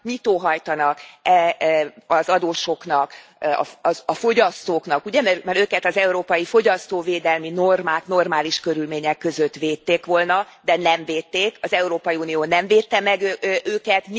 Mit óhajtanak az adósoknak, a fogyasztóknak, ugye, mert őket az európai fogyasztóvédelmi normák normális körülmények között védték volna, de nem védték, az Európai Unió nem védte meg őket.